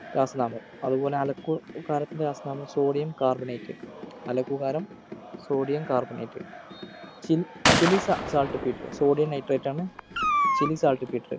രാസനാമം അതുപോലെ അലുക്കുകാരത്തിൻ്റെ രാസനാമം sodium carbonate അലക്കുകാരം sodium carbonatechile chile saw saltpetersodium nitrate ആണ്‌ chile saltpeter